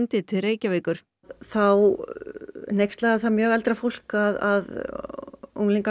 til Reykjavíkur þá hneykslaði það mjög eldra fólk að unglingar